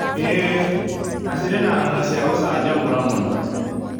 ĩĩ, na cirĩ na ng'ano cia gũcanjamũra mũno.